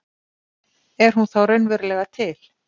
Er hún þá raunverulega til?